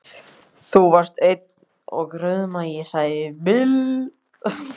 Þú varst eins og rauðmagi, sagði Bill.